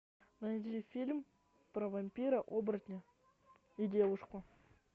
найди фильм про вампира оборотня и девушку